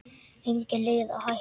Engin leið að hætta.